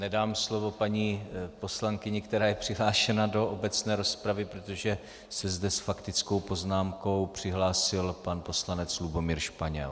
Nedám slovo paní poslankyni, která je přihlášena do obecné rozpravy, protože se zde s faktickou poznámkou přihlásil pan poslanec Lubomír Španěl.